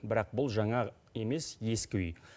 бірақ бұл жаңа емес ескі үй